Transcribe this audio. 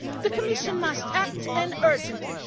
The Commission must act and urgently.